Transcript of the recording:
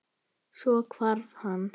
Svo hvarf hann.